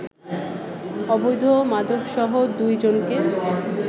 অবৈধ মাদকসহ দুই জনকে